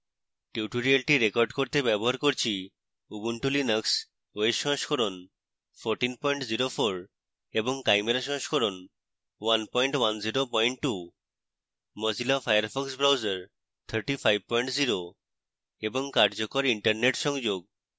tutorial record করতে ব্যবহার করছি ubuntu linux os সংস্করণ 1404 এবং chimera সংস্করণ 1102